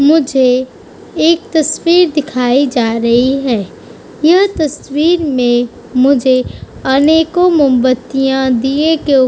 मुझे एक तस्वीर दिखाई जा रही है। यह तस्वीर में मुझे आने को मुंबत्तिया दिये के ऊ --